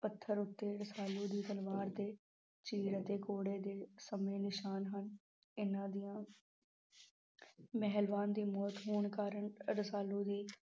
ਪੱਥਰ ਉੱਤੇ ਰਸਾਲੂ ਦੀ ਤਲਵਾਰ ਦੇ ਚੀਲ ਅਤੇ ਘੋੜੇ ਦੇ ਸਮੇਂ ਨਿਸ਼ਾਨ ਹਨ ਇਹਨਾਂ ਦੀਆਂ ਮਹਿਲਵਾਨ ਦੀ ਮੌਤ ਹੋਣ ਕਾਰਨ ਰਸਾਲੂ ਵੀ